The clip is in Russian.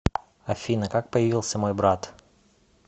афина как появился мой брат